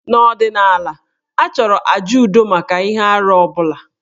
N'ọdịnala, a chọrọ àjà udo maka ihe arụ ọ bụla.